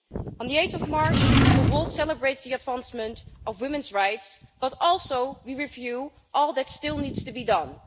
On 8 March, the world celebrates the advancement of women's rights, but also we review all that still needs to be done.